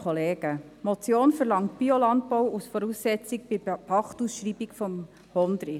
Die Motion verlangt Biolandbau als Voraussetzung bei der Pachtausschreibung des Hondrich.